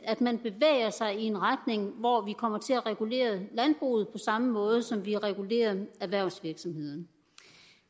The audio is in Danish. at man bevæger sig i en retning hvor vi kommer til at regulere landbruget på samme måde som vi regulerer erhvervsvirksomhederne